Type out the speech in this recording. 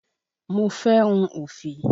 Mo fé hun òfì.